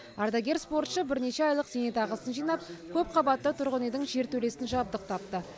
ардагер спортшы бірнеше айлық зейнетақысын жинап көпқабатты тұрғын үйдің жертөлесін жабдықтапты